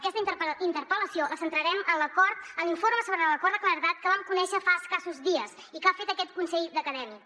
aquesta interpel·lació la centrarem en l’acord en l’informe sobre l’acord de claredat que vam conèixer fa escassos dies i que ha fet aquest consell d’acadèmics